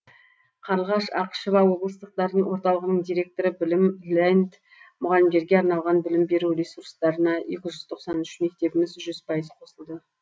қарлығаш ақышева облыстық дарын орталығының директоры білім ленд мұғалімдерге арналған білім беру ресурстарына екі жүз тоқсан үш мектебіміз жүз пайыз қосылды